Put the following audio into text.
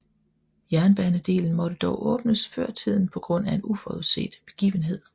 Jernbanedelen måtte dog åbnes før tiden på grund af en uforudset begivenhed